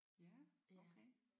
Ja okay